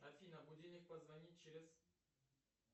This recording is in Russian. афина будильник позвонит через